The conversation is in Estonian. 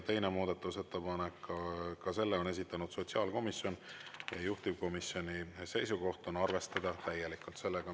Teine muudatusettepanek, ka selle on esitanud sotsiaalkomisjon, juhtivkomisjoni seisukoht on arvestada täielikult.